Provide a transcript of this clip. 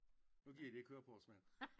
Nu gider de ikke høre på og mere